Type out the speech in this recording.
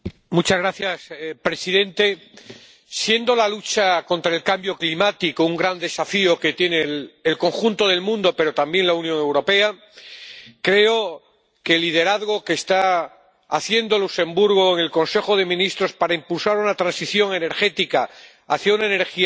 Señor presidente, siendo la lucha contra el cambio climático un gran desafío que tiene el conjunto del mundo, pero también la Unión Europea, creo que el liderazgo que está ejerciendo Luxemburgo en el Consejo de Ministros para impulsar una transición energética hacia una energía limpia